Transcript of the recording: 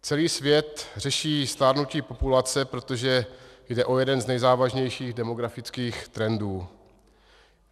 Celý svět řeší stárnutí populace, protože jde o jeden z nejzávažnějších demografických trendů.